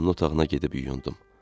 Vanna otağına gedib yuyundum.